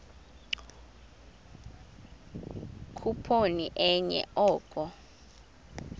khuphoni enye oko